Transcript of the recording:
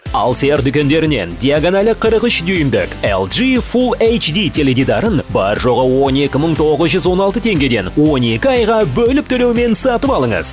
алсер дүкендерінен диагональі қырық үш дюмдік лж фул эйчди теледидарын бар жоғы он екі мың тоғыз жүз он алты теңгеден он екі айға бөліп төлеумен сатып алыңыз